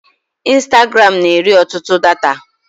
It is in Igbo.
Instagram na-eri ọtụtụ data.